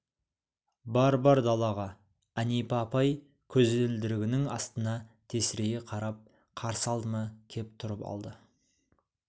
бар бар далаға әнипа апай көзілдірігінің астынан тесірейе қарап қарсы алдыма кеп тұрып алды